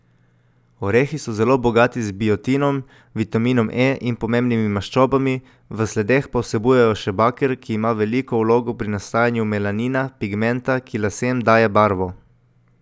Orehi so zelo bogati z biotinom, vitaminom E in pomembnimi maščobami, v sledeh pa vsebujejo še baker, ki ima veliko vlogo pri nastajanju melanina, pigmenta, ki lasem daje barvo.